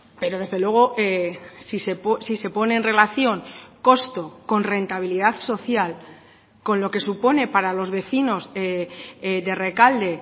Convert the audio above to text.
pero desde luego si se pone en relación costo con rentabilidad social con lo que supone para los vecinos de rekalde